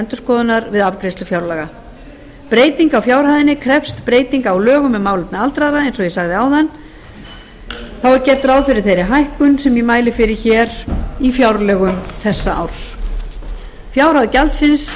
endurskoðunar við afgreiðslu fjárlaga breyting á fjárhæðinni krefst breytinga á lögum um málefni aldraðra eins og ég sagði áðan þá er gert ráð fyrir þeirri hækkun sem ég mæli fyrir í fjárlögum þessa árs fjárhæð gjaldsins